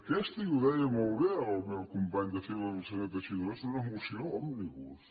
aquesta i ho deia molt bé el meu company de files el senyor teixidó és una moció òmnibus